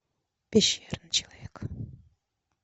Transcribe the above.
пещерный человек